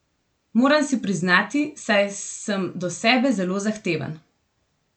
Moram si priznati, saj sem do sebe zelo zahteven.